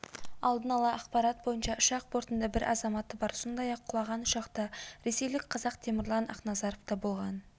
алдын ала ақпарат бойынша ұшақ бортында бір азаматы бар сондай-ақ құлаған ұшақта ресейлік қазақтемірлан ақназаровта болған